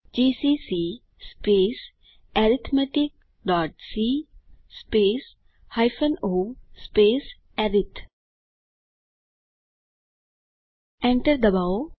GCC arithmeticસી o અરિથ Enter ડબાઓ